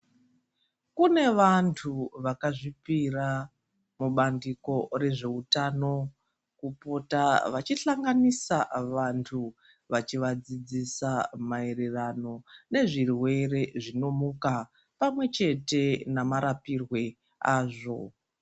Kune vantu vakazvipira mubandiko rezveutano kupota vachihlanganisa vantu vachivadzidzisa maererano nezvirwere zvinomuka pamwechete namarapirwe azvo